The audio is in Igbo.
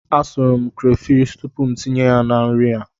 Asụrụ m krefishi tupu m tinye ya na nri a.